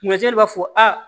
b'a fɔ a